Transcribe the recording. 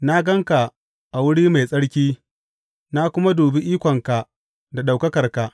Na gan ka a wuri mai tsarki na kuma dubi ikonka da ɗaukakarka.